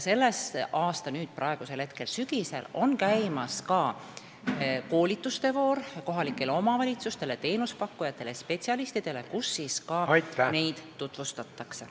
Ja praegu, sügisel, on kohalikele omavalitsustele, teenusepakkujatele ja spetsialistidele käimas koolitustevoor, kus neid juhendeid ka tutvustatakse.